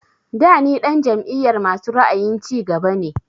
Da ni ɗan jam'iyar masu ra'ayin cigaba ne